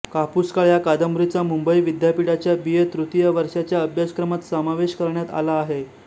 कापूसकाळ या कादंबरीचा मुंबई विद्यापीठाच्या बी ए तृतीय वर्षाच्या अभ्यासक्रमात समावेश करण्यात आला होता